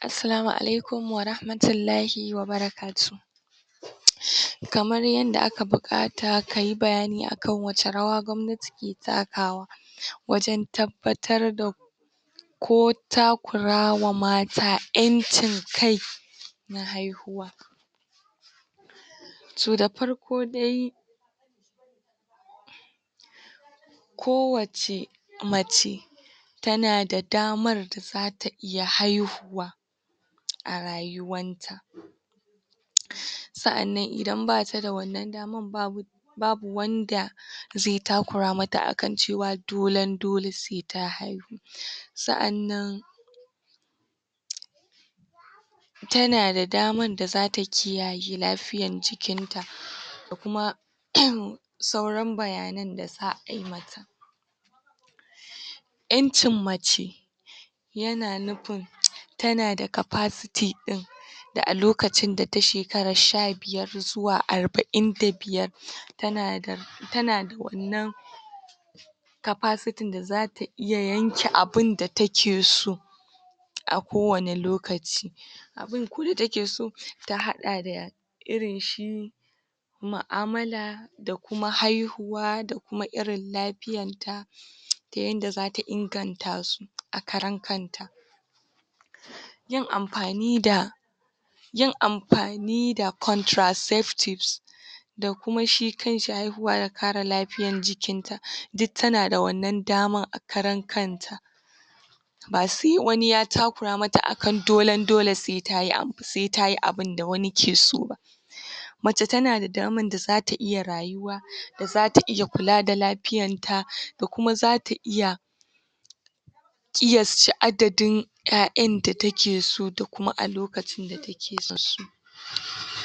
Assalamu alaikum warahamatullahi wa barakatuhu kamar yanda aka buƙata ka yi bayani akan wace rawa gwamnati ke takawa wajen tabbatar da ko takurawa mata ƴancin kai na haihuwa to da farko dai ko wacce mace tana da damar da za ta iya haihuwa a rayuwanta sa'annan idan ba ta da wannan daman babu um babu wanda ze takura mata akan cewa dolen-dole sai ta haihu um sa'annan tana da daman da za ta kiyaye lafiyan jikinta da kuma um sauran bayanan da za ai mata ƴancin mace yana nufin tana da capacity ɗin da a lokacin da ta shekara sha-biyar zuwa arba'in da biyar tana da tana da wannan capaciting da za ta iya yanke abin da take so a kowane lokaci abin kwa da take so ta haɗa da irin shi ma'amala da kuma haihuwa da kuma irin lafiyanta ta yanda za ta inganta su a karan kanta yin amfani da yin amfani da contrasafe tips da kuma shi kan shi haihuwa da kare lafiyan jikinta duk tana da wannan daman a karan kanta ba se wani ya takura mata akan dolen-dole se ta yi abin da wani ke so ba um mace tana da daman da zata iya rayuwa da zata iya kula da lafiyanta da kuma za ta iya ƙiyacce adadin ƴaƴan da take so da kuma a lokacin da take son su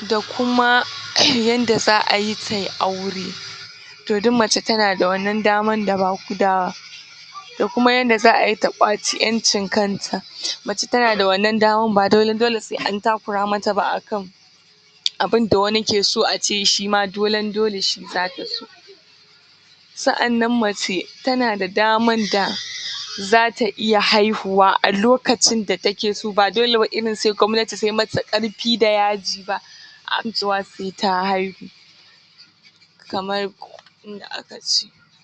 da kuma um yanda za a yi ta yi aure to duk mace tana da wannan dama? da kuma yanda za a yi ta ƙwaci ƴancin kanta mace tana da wannan daman ba dolen-dole se an takura mata ba akan abin da wani ke so ace shi ma dolen-dole shi za ta so sa'annan mace tana da daman da zata iya haihuwa a lokacin da take so ba dole wai irin se gwamnati ta yi mata ƙarfi-da-yaji ba akan cewa se ta haihu